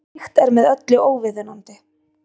Slíkt er með öllu óviðunandi